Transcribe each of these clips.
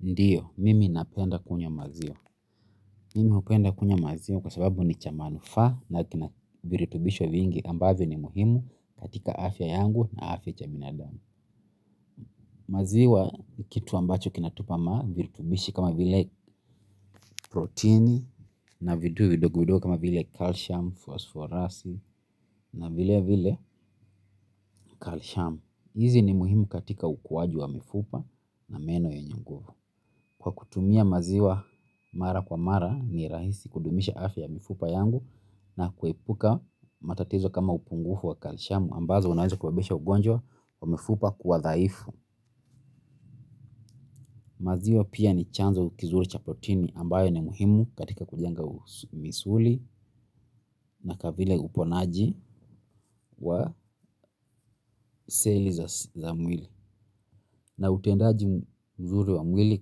Ndiyo, mimi napenda kunywa maziwa. Mimi hupenda kunywa maziwa kwa sababu ni cha manufaa na kina viritubisho vingi ambavyo ni muhimu katika afya yangu na afya ya binadamu maziwa ni kitu ambacho kinatupa, viritubishi kama vile proteini na vitu vidogo vidogo kama vile calcium, phosphorus na vile vile calcium. Izi ni muhimu katika ukuwaji wa mifupa na meno yenye nguvu. Kwa kutumia maziwa mara kwa mara ni rahisi kudumisha afya mifupa yangu na kuepuka matatizo kama upungufu wa kalishamu ambazo unaweza kusababisha ugonjwa wa mifupa kuwa dhaifu. Maziwa pia ni chanzo kizuri cha proteini ambayo ni muhimu katika kujenga misuli na vile uponaji wa seli za mwili. Na utendaji mzuri wa mwili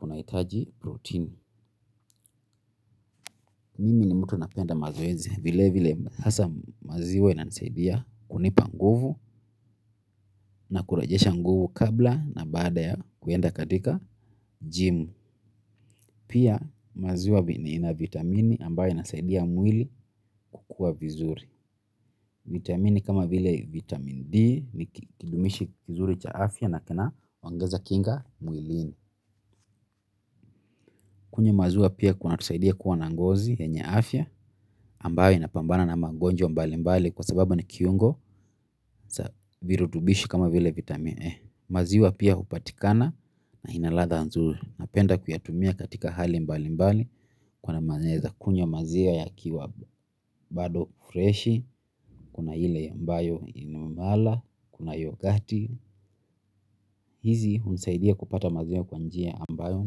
unahitaji protein. Mimi ni mtu napenda mazoezi vile vile hasa maziwa inanisaidia kunipa nguvu na kurejesha nguvu kabla na baada ya kuenda katika jimu. Pia maziwa ina vitamini ambayo inasaidia mwili kukua vizuri. Vitamini kama vile vitamin D ni kidumishi kizuri cha afya na kina ongeza kinga mwilini. Kunywa maziwa pia kunatusaidia kuwa na ngozi yenye afya, ambayo inapambana na mangonjwa mbali mbali kwa sababu ni kiungo, za virutubishi kama vile vitamine E. Maziwa pia hupatikana na ina latha nzuri napenda kuyatumia katika hali mbali mbali kwamba naeza kunywa maziwa ikiwa bado freshi, kuna mala, kuna yoghurt hizi hunisaidia kupata maziwa kwa njia ambayo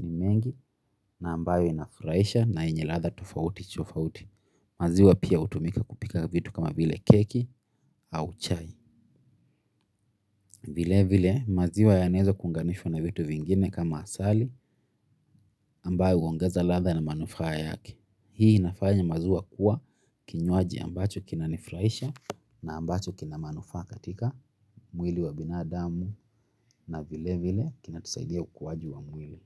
ni mengi na ambayo inafurahisha na yenye latha tofauti tofauti. Maziwa pia hutumika kupika vitu kama vile keki au chai. Vile vile maziwa yanaeza kuunganishwa na vitu vingine kama asali ambayo huongeza latha na manufaa yake. Hii inafanya maziwa kuwa kinywaji ambacho kinanifurahisha na ambacho kina manufaa katika mwili wa binadamu na vile vile kinatusaidia ukuwaji wa mwili.